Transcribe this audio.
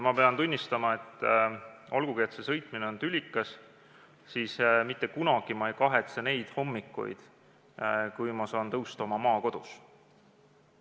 Ma pean tunnistama, et olgugi see sõitmine tülikas, ma mitte kunagi ei kahetse neid hommikuid, kui ma saan tõusta oma maakodus.